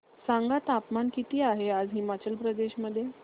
सांगा तापमान किती आहे आज हिमाचल प्रदेश मध्ये